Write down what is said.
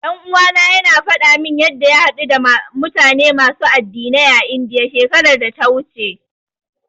Ɗan uwana yana faɗa min yanda ya haɗu da mutane masu addinai a Indiya, shekarar da ta wuce.